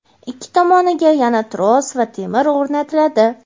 ikki tomoniga yana tros va temir o‘rnatiladi.